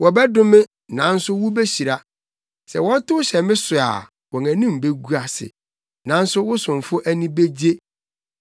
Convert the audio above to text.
Wɔbɛdome, nanso wubehyira; sɛ wɔtow hyɛ me so a wɔn anim begu ase, nanso wo somfo ani begye.